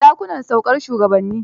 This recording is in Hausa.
Dakunan saukar shugabanni.